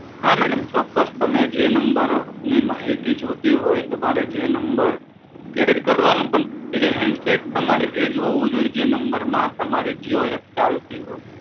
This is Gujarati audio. હા મેડમ ચોક્કસ તમે જે નમ્બરની માહિતી જોતી હોય, તમારે જે નમ્બર એડ કરવાનો એ હેન્ડસેટ તમારે એજ હોવું જોએ જે નમ્બર માં તમારે જીઓ એપ ચાલતી હોય.